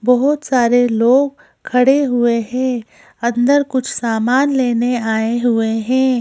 बहुत सारे लोग खड़े हुए हैं अंदर कुछ सामान लेने आए हुए हैं।